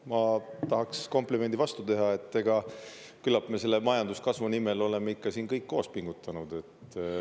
Ma tahaks komplimendi vastu teha, et küllap me selle majanduskasvu nimel oleme ikka siin kõik koos pingutanud.